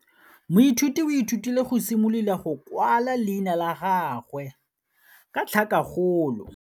Moithuti o ithutile go simolola go kwala leina la gagwe ka tlhakakgolo.